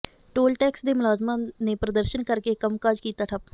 toll tax ਦੇ ਮੁਲਾਜ਼ਮਾਂ ਨੇ ਪ੍ਰਦਰਸ਼ਨ ਕਰਕੇ ਕੰਮਕਾਜ ਕੀਤਾ ਠੱਪ